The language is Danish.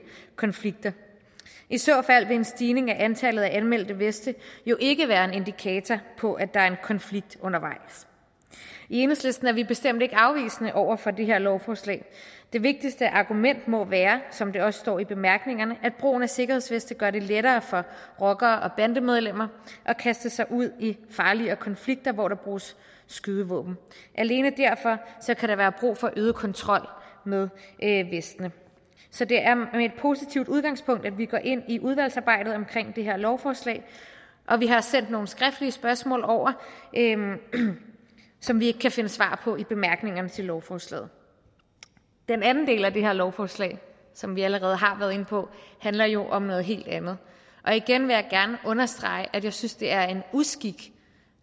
konflikter i så fald vil en stigning i antallet af anmeldte veste jo ikke være en indikator på at der er en konflikt undervejs i enhedslisten er vi bestemt ikke afvisende over for det her lovforslag det vigtigste argument må være som der også står i bemærkningerne at brugen af sikkerhedsveste gør det lettere for rockere og bandemedlemmer at kaste sig ud i farligere konflikter hvor der bruges skydevåben alene derfor kan der være brug for en øget kontrol med vestene så det er med et positivt udgangspunkt at vi går ind i udvalgsarbejdet omkring det her lovforslag og vi har sendt nogle skriftlige spørgsmål over som vi ikke kan finde svar på i bemærkningerne til lovforslaget den anden del af det her lovforslag som vi allerede har været inde på handler jo om noget helt andet og igen vil jeg gerne understrege at jeg synes det er en uskik